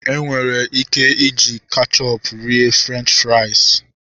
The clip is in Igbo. Enwere ike iji kechọpu rie Frenchi frais